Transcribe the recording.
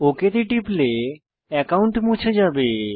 okay তে টিপলে account মুছে যাবে